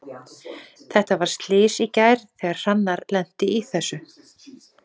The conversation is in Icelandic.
Þetta var slys í gær þegar Hrannar lenti í þessu.